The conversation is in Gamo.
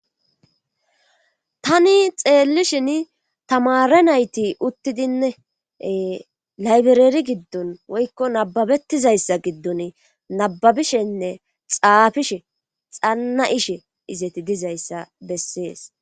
Tani xeellishin tamare nayti uttidinnee laybereeri giddun woykko nababettizayssa giddun nababishenne xaafishe xanna ishe izeti dizayssa bessees